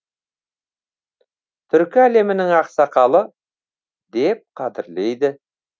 түркі әлемінің ақсақалы деп қадірлейді